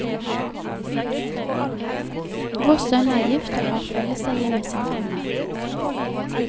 Vår sønn er gift og har felleseie med sin kone.